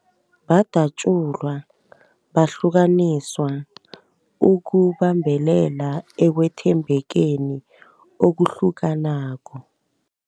Badatjulwa, bahlukaniswa ukubambelela ekwethembekeni okuhlukanako.